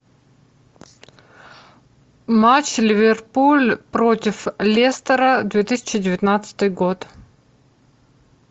матч ливерпуль против лестера две тысячи девятнадцатый год